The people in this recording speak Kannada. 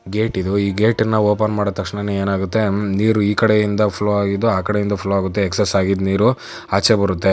ಗೇಟ ಇದು. ಈ ಗೇಟನ್ನು ಓಪನ್ ಮಾಡಿದ ತಕ್ಷಣ ಏನಾಗುತ್ತೆ ನೀರು ಇ ಕಡೆ ಇಂದ ಫ್ಲೋ ಅಗಿದೂ ಆ ಕಡೆ ಫ್ಲೋ ಆಗುತ್ತೆ. ಎಕ್ಸ್ಸ್ ಆಗಿದೂ ನೀರೂ ಆಚೆ ಬರುತೆ.